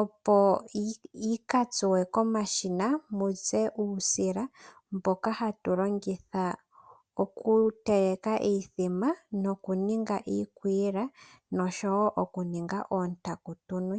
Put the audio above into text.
opo yikatsuwe komashina muze uusila mboka hatu longitha oku teleka iimbombo noku ninga iikwila noshowo oku ninga oontaku tunwe.